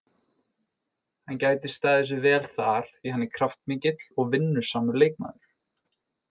Hann gæti staðið sig vel þar því hann er kraftmikill og vinnusamur leikmaður.